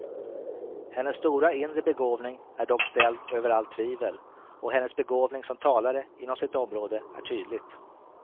Hennes stora inre begåvning är dock ställd över allt tvivel, och hennes begåvning som talare inom sitt område är tydligt.